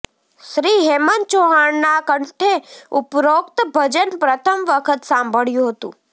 શ્રી હેમંત ચૌહાણના કંઠે ઉપરોક્ત ભજન પ્રથમ વખત સાંભળ્યું હતું